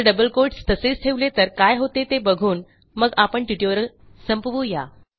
जर डबल quotesतसेच ठेवले तर काय होते ते बघून मग आपण ट्युटोरियल संपवू या